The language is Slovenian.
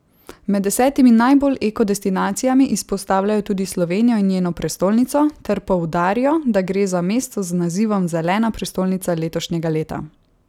Med desetimi najbolj eko destinacijami izpostavljajo tudi Slovenijo in njeno prestolnico ter poudarijo, da gre za mesto z nazivom Zelena prestolnica letošnjega leta.